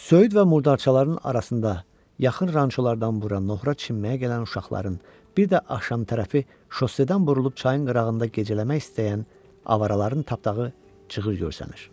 Söyüd və murdarçaların arasında, yaxın rançolardan bura noxura çimməyə gələn uşaqların, bir də axşam tərəfi şossedən burulub çayın qırağında gecələmək istəyən avaraların tapdağı cığır görsənir.